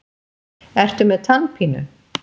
Ertu með tannpínu?